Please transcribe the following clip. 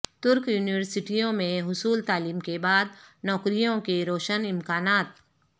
ترک یونیورسٹیوں میں حصول تعلیم کے بعد نوکریوں کے روشن امکانات